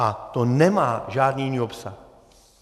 A to nemá žádný jiný obsah.